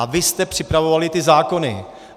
A vy jste připravovali ty zákony.